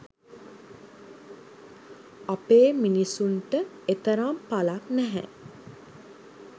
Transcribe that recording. අපේ මිනිසුන්ට එතරම් පලක් නැහැ.